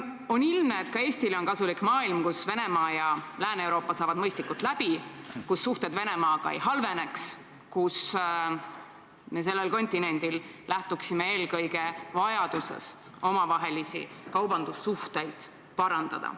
On ilmne, et Eestilegi on kasulik selline maailm, kus Venemaa ja Lääne-Euroopa saaksid mõistlikult läbi, kus suhted Venemaaga ei halveneks ning kus sellel kontinendil lähtuksime eelkõige vajadusest omavahelisi kaubandussuhteid parandada.